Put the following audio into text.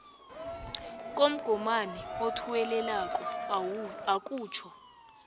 komgomani othuwelelako akutjho